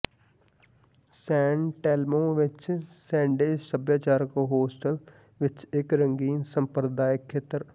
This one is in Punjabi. ਸੈਨ ਟੇਲਮੌ ਵਿਚ ਸੈਨਡੰਜ਼ ਸੱਭਿਆਚਾਰਕ ਹੋਸਟਲ ਵਿਚ ਇਕ ਰੰਗੀਨ ਸੰਪਰਦਾਇਕ ਖੇਤਰ